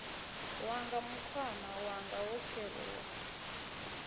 wanga mukhwama wanga wo kheruwa